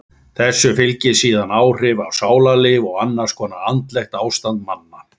Þessu fylgi síðan áhrif á sálarlíf og annars konar andlegt ástand manna.